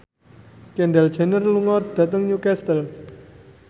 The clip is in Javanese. Kendall Jenner lunga dhateng Newcastle